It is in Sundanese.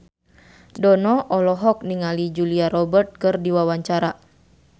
Dono olohok ningali Julia Robert keur diwawancara